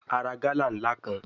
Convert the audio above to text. A ra gala nla kan